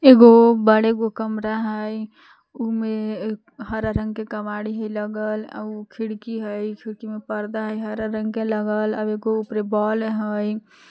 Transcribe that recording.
एगो बड़ेगो कमरा हई उमे हरा रंग के केमाड़ी हई लगल आउ खिड़की हई खिड़की में पर्दा हई हरा रंग के लगल एगो उपरे बॉल हई।